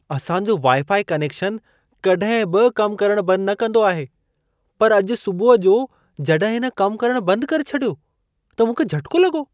असां जो wifi connection कॾहिं बि कम करण बंद न कंदो आहे, पर अॼु सुबुह जो जॾहिं इन कम करण बंद करे छॾियो त मूंखे झटिको लॻो।